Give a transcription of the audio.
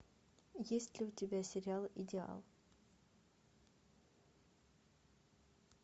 есть ли у тебя сериал идеал